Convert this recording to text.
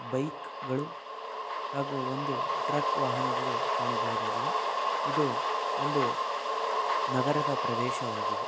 Bike ಗಳು ಹಾಗು ಒಂದು ಟ್ರಕ್ ವಾಹನಗಳು ಕಾಣಬಹುದಾಗಿದೆ ಇದು ಒಂದು ನಗರದ ಪ್ರದೇಶವಾಗಿದೆ.